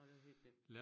Nej hvor hyggeligt